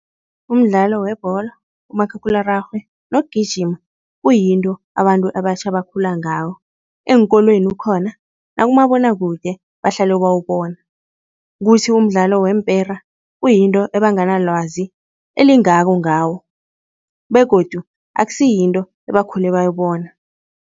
Umdlalo webholo, umakhakhulararhwe nokugijima kuyinto abantu abatjha abakhula ngawo. Eenkolweni ukhona nakumabonakude bahlale bawubona. Kuthi umdlalo weempera kuyinto ebanganalwazi elingako ngawo begodu akusiyinto ebakhule bayibona.